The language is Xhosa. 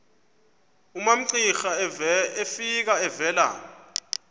umamcira efika evela